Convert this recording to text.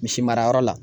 Misi mara yɔrɔ la